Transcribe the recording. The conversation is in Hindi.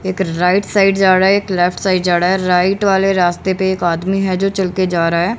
एक राइट साइड जरा है। एक लेफ्ट साइड जा रहा है। राइट वाले रास्ते पे एक आदमी है जो चल के जा रहा है।